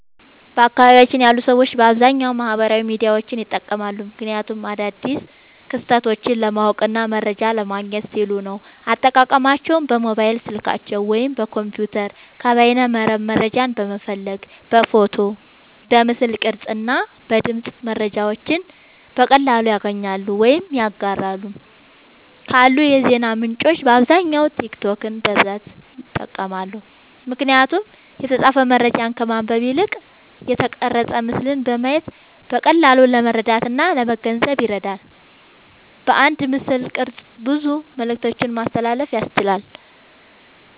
በአካባቢየ ያሉ ሰዎች በአብዛኛዉ ማህበራዊ ሚዲያዎችን ይጠቀማሉ። ምክንያቱም አዳዲስ ክስተቶችን ለማወቅና መረጃ ለማግኘት ሲሉ ነዉ። አጠቃቀማቸዉም በሞባይል ስልካቸዉ ወይም በኮምፒዉተር ከበይነመረብ መረጃን በመፈለግ በፎቶ፣ በምስል ቅርጽ እና በድምጽ መረጃዎችን በቀላሉ ያገኛሉ ወይም ያጋራሉ። ካሉ የዜና ምንጮች በአብዛኛዉ ቲክቶክን በብዛት ይጠቀማሉ። ምክንያቱም የተጻፈ መረጃን ከማንበብ ይልቅ የተቀረጸ ምስልን በማየት በቀላሉ ለመረዳትእና ለመገንዘብ ይረዳል። በአንድ ምስልቅርጽ ብዙ መልክቶችን ማስተላለፍ ያስችላል።